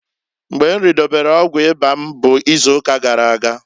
Mgba m ridobelu ọgwụ ịba m bu izuuka gara aga.